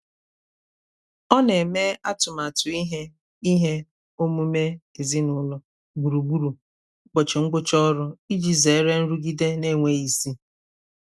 ọ na-eme atụmatụ ihe ihe omume ezinụlọ gburugburu ụbọchị ngwụcha ọrụ iji zere nrụgide na-enweghị isi.